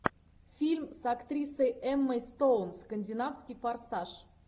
фильм с актрисой эммой стоун скандинавский форсаж